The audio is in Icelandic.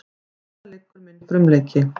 Þarna liggur minn frumleiki.